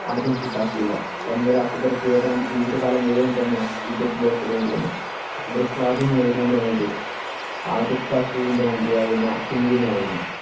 ആദ്യം കൂട്ടാക്കിയില്ല. തൻമൂലം അക്ബര്‍ക്ക് ഏതാണ്ട് ജീവിതകാലം മുഴുവൻ തന്നെ യുദ്ധത്തിൽ ഏർപെടേണ്ടി വന്നു. അക്ബര്‍ക്ക് ആദ്യം നേരിടേണ്ടി വന്നത് ആദിര്‍ഷാ സൂരിന്‍റെ മന്ത്രിയായിരുന്ന ഹിമുവിനെ ആയിരുന്നു.